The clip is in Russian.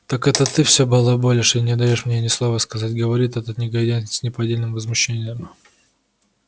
так это ты всё балаболишь и не даёшь мне ни слова сказать говорит этот негодяй с неподдельным возмущением